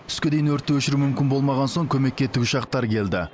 түске дейін өртті өшіру мүмкін болмаған соң көмекке тікұшақтар келді